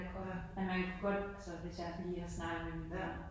Ja ja